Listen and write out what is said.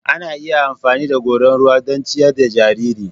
Ana iya amfani da goran ruwa don ciyar da jarirai.